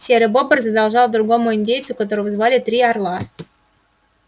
серый бобр задолжал другому индейцу которого звали три орла